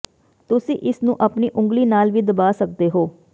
ਤੁਸੀਂ ਇਸ ਨੂੰ ਆਪਣੀ ਉਂਗਲੀ ਨਾਲ ਵੀ ਦਬਾ ਸਕਦੇ ਹੋ